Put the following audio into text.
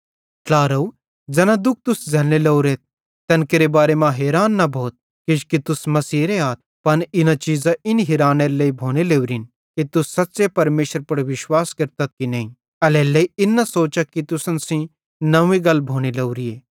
ट्लारव ज़ैना दुःख तुस झ़ैल्लने लोरेथ तैन केरे बारे मां हैरान न भोथ किजोकि तुस मसीहेरे आथ पन इना चीज़ां इन हिरानेरे लेइ भोनेरे लोरिन कि तुस सच़्च़े परमेशरे पुड़ विश्वास केरतथ की नईं एल्हेरेलेइ इन न सोचा कि तुसन सेइं नव्वीं गल भोने लोरीए